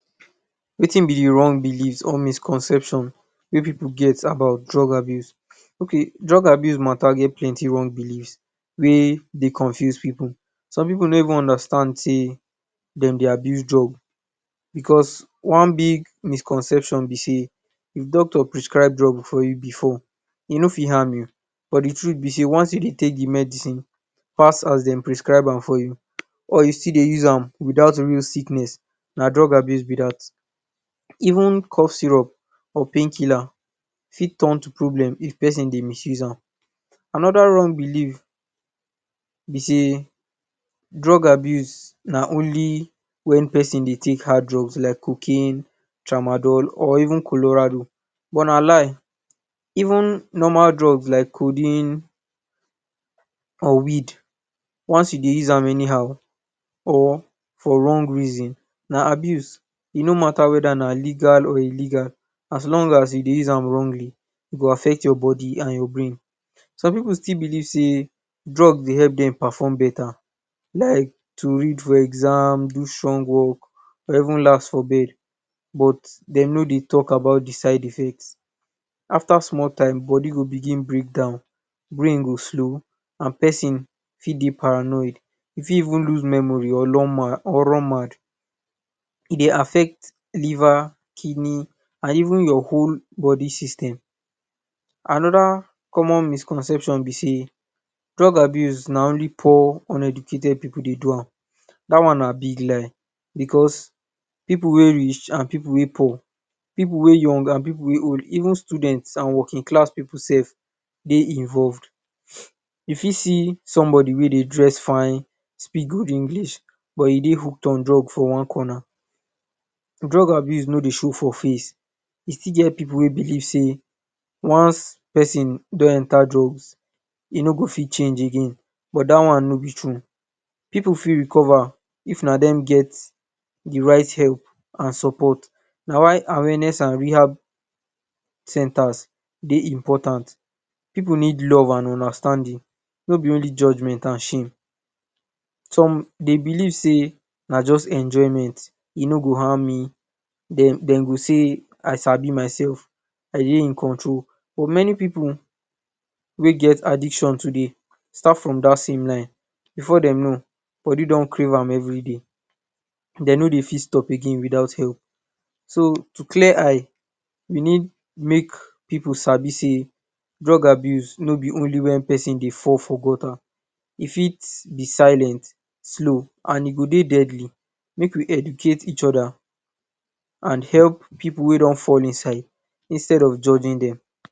Wetin be the wrong beliefs or misconceptions wey pipu get about drug abuse? Okay, drug abuse matter get plenty wrong beliefs wey dey confuse pipu. Some pipu no even understand sey, de dey abuse drug. Because one big misconception be sey, if doctor prescribe drug for you before, e no fit harm you. But the truth be sey, once you dey take the medicine pass as de prescribe am for you, or you still dey use am without real sickness, na drug abuse be dat. Even cough syrup or painkiller fit turn to problem, if pesin dey misuses am. Another wrong belief be sey, drug abuse na only wen pesin dey take hard drug like cocaine, tramadol or even colorado. But na lie. Even normal drug like codeine or weed, once you use am anyhow or for wrong reason, na abuse. E no matter whether na legal or illegal. As long as you dey use am wrongly, e go affect your body and your brain. Some pipu still believe sey drug dey help dem perform better, like to read for exam, do strong work, or even last for bed. But, de no dey talk about the side effects. After small time, the body go begin break down, brain go slow, and pesin fit dey paranoid. E fit even lose memory or run mad. E dey affect liver, kidney and even your whole body system. Anoda common misconception be sey drug abuse na only poor, uneducated pipu dey do am. Dat one na big lie becos pipu wey rich and pipu wey poor, pipu wey young and pipu wey old, even students and working class pipu self dey involved. You fit see somebody wey dey dress fine, speak good English, but e dey hook on drugs for one corner. Drug abuse no dey show for face. E stil get pipu wey believe sey, once pesin don enter drugs, e no go fit change again. But dat one no be true. Pipu fit recover, if na dem get the right help and support. Na why awareness and rehab centres dey important. Pipu need love and understanding, no be only judgment and shame. Some dey believe sey na just enjoyment, e no go harm me. De de go say, I sabi myself. I dey in control. But many pipu wey get addiction today, start from dat same line. Before dem no, body don crave am every day. De no dey fit stop again without help. So to clear eye, we need make pipu sabi sey drug abuse no be only wen pesin dey fall for gutter. E fit be silent, slow, and e go dey deadly. Make we educate each other and help pipu wey don fall inside instead of judging dem.